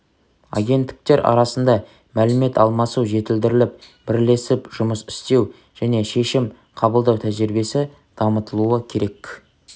агенттіктер арасында мәлімет алмасу жетілдіріліп бірлесіп жұмыс істеу және шешім қабылдау тәжірибесі дамытылуы керек